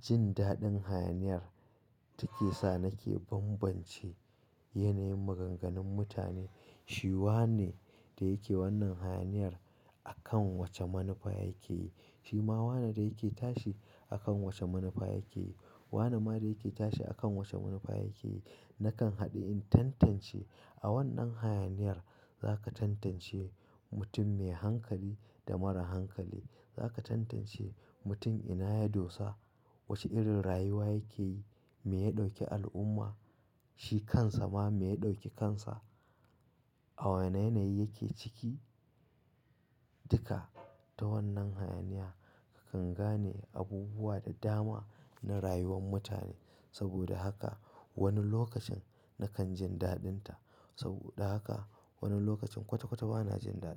jin daɗin hayaniyar take sa nake banbance yanayin maganganun mutane. Shi wane da yake wannan hayaniyar akan wace manufa yake yi, shi ma wane da yake tashi akan wace manufa yake yi. Wane ma da yake tashi akan wace manufa yake yi. Nakan haɗe in tantance. A wannan hayaniyar zaka tantance mutum me hankali da mara hankali. Zaka tantance mutum ina ya dosa, wace irin rayuwa yake yi, me ya ɗauke al'umma, shi kansa ma me ya ɗauke kansa, a wa yanayi yake ciki. Duka ta wannan hayaniya kakan gane abubuwa da dama na rayuwar mutane. Saboda haka wani lokacin nakan jin daɗin ta. Saboda haka wani lokacin kwata-kwata ba na jin daɗin ta.